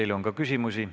Teile on ka küsimusi.